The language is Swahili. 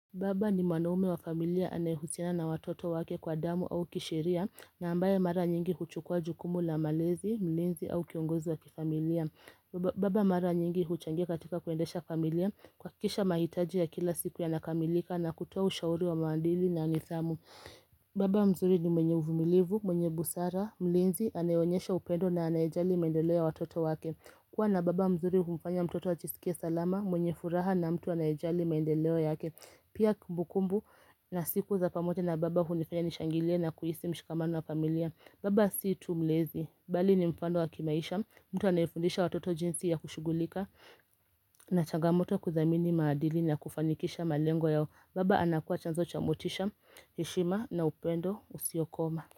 Baba ni mwanaume wa familia anayehusiana na watoto wake kwa damu au kisheria na ambaye mara nyingi huchukua jukumu la malezi, mlinzi au kiongozi wa kifamilia. Baba mara nyingi huchangia katika kuendesha familia kuhakikisha mahitaji ya kila siku yanakamilika na kutoa ushauri wa maadili na nidhamu. Baba mzuri ni mwenye uvumilivu, mwenye busara, mlinzi anaeonyesha upendo na anayejali maendeleo ya watoto wake. Kuwa na baba mzuri humfanya mtoto ajisikie salama mwenye furaha na mtu anayejali maendeleo yake. Pia kumbukumbu na siku za pamoja na baba hunifanya nishangilie na kuhisi mshikamano wa familia Baba siyo tumlezi, bali ni mfano wa kimaisha mtu anayefundisha watoto jinsi ya kushughulika na changamoto ya kuthamini maadili na kufanikisha malengo yao Baba anakuwa chanzo chamotisha, heshima na upendo usiokoma.